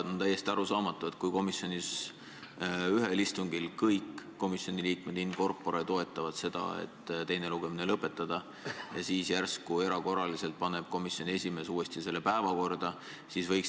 On täiesti arusaamatu, et kui komisjonis ühel istungil kõik komisjoni liikmed in corpore toetavad seda, et teine lugemine lõpetada, siis järsku erakorraliselt paneb komisjoni esimees ette selle uuesti päevakorda võtta.